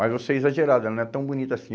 Mas você é exagerado, ela não é tão bonita assim.